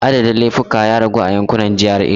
Adadin laifuka ya ragu a yankunan GRA.